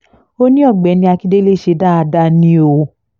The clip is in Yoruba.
ó ní ọ̀gbẹ́ni akíndélé ṣe dáadáa ni o